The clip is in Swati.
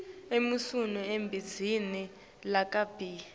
emasu ebhizinisi lakabi